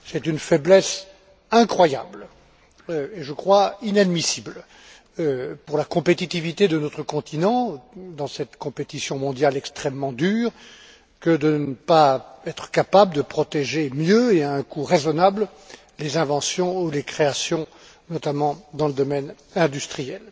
C'est une faiblesse incroyable et, je crois, inadmissible pour la compétitivité de notre continent, dans cette compétition mondiale extrêmement dure, que de ne pas être capable de protéger mieux et à un coût raisonnable les inventions ou les créations, notamment dans le domaine industriel.